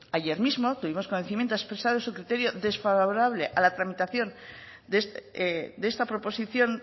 ayer mismo tuvimos conocimiento expreso de su criterio desfavorable a la tramitación de esta proposición